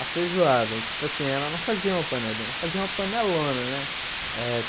A feijoada, tipo assim, ela não fazia uma panelinha, ela fazia uma panelona, né? Eh